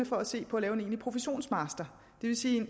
for at se på at lave en egentlig professionsmaster det vil sige